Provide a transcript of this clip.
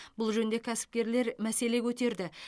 бұл жөнінде кәсіпкерлер мәселе көтерді